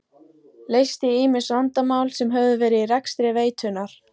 Leysti ýmis vandamál sem höfðu verið í rekstri veitunnar.